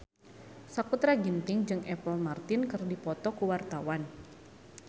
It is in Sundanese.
Sakutra Ginting jeung Apple Martin keur dipoto ku wartawan